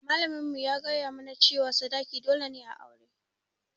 Malamin mu ya gaya mu na cewa sadaki dole ne a aure